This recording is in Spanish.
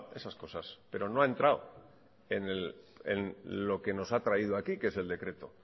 esas cosas pero no ha entrado en lo que nos ha traído aquí que es el decreto